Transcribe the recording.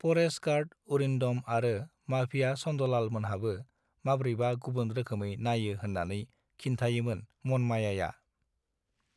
परेष् ट गार्ड उरिन् दम आरो माफिया सन् दलाल मोनहाबो मब्रैबा गुबुन रोखौमै नाययो होत्रानै खिन् थायोमोन मनमायाआ